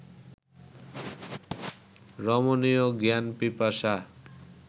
রমণীয় জ্ঞান-পিপাসা